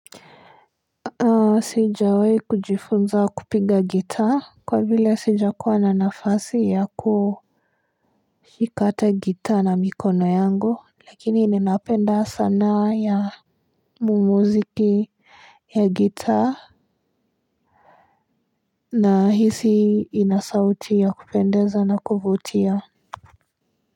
La sijawahi kujifunza kupinga gitaa kwa vile sija kuwa na nafasi ya ku shika hata gitaa na mikono yangu lakini ninapenda sanaa ya muziki ya gitaa na hisi inasauti ya kupendeza na kuvutia.